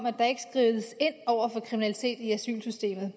at der ikke skrides ind over for kriminalitet i asylsystemet